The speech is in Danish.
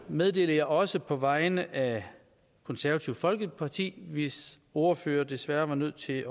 meddeler jeg også på vegne af konservative folkeparti hvis ordfører desværre var nødt til